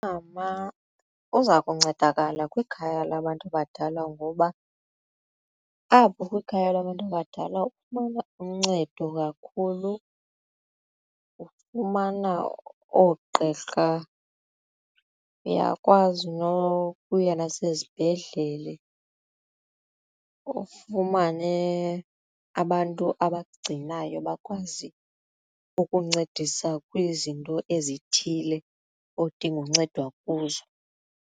Umama uza kuncedakala kwikhaya labantu abadala ngoba apho kwikhaya labantu abadala ufumana uncedo kakhulu ufumana oogqirha uyakwazi nokuya nasezibhedlele ufumane abantu abakugcinayo bakwazi ukuncedisa kwizinto ezithile odinga uncedwa kuzo.